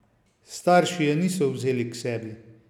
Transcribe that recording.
Starši je niso vzeli k sebi!